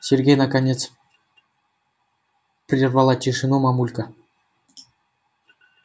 сергей наконец прервала тишину мамулька